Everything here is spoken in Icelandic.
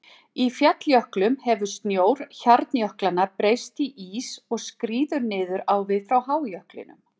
Í falljöklum hefur snjór hjarnjöklanna breyst í ís og skríður niður á við frá hájöklinum.